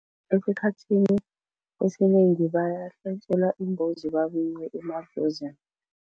Esikhathini esinengi bayahlatjelwa imbuzi babikwe emadlozini.